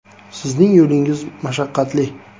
“Sizning yo‘lingiz mashaqqatli.